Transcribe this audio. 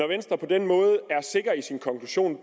venstre på den måde er sikker i sin konklusion